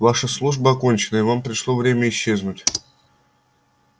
ваша служба окончена и вам пришло время исчезнуть